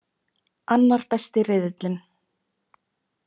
Annar besti riðillinn